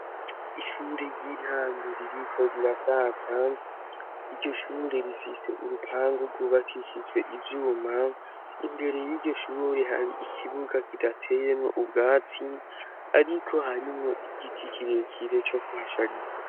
Ishure ry'intango ririko rirasaza, iryo shure rifise urupangu rwubakishijwe ivyuma, imbere y'iryo shure har'ikibuga kidateyemwo ubwatsi ariko harimwo igiti kirekire co kuhashariza.